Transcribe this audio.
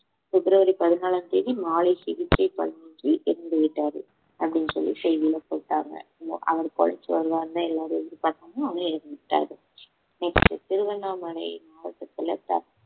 பிப்ரவரி பதினாலாம் தேதி மாலை சிகிச்சை பலனின்றி இறந்துவிட்டார் அப்படின்னு சொல்லி செய்தில போட்டாங்க அவர் பொழைச்சு வருவாருன்னு எல்லாரும் எதிர்பார்த்தாங்க ஆனா இறந்துட்டாரு next திருவண்ணாமலை மாவட்டத்துல த~